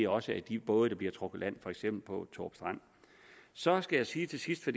også er de både der bliver trukket på land for eksempel på thorup strand så skal jeg sige til sidst for